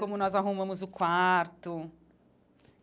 Como nós arrumamos o quarto.